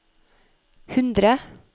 hundre